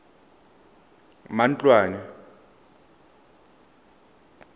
dirwa mo go ena ka